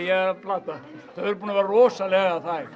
að plata þau eru búin að vera rosalega þæg